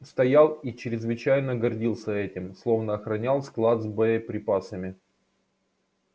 стоял и чрезвычайно гордился этим словно охранял склад с боеприпасами